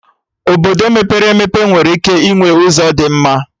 Obodo mepere emepe nwere ike ịnwe ụzọ dị mma